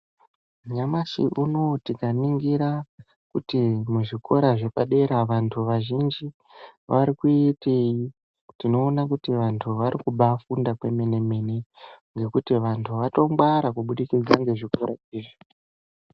Nyamashi uno tikaningira kuti muzvikora zvapadera vantu vazhinji vari kuitei, tinoona kuti vantu varikubaafunda kwemene-mene, ngekuti vantu vatongwara kubudikidza ngezvikora izvi.